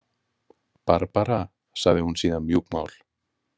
Barbara, sagði hún síðan mjúkmál.